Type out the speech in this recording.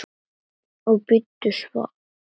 Og bíddu svars.